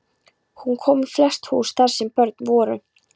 Hún kom í flest hús þar sem börn voru.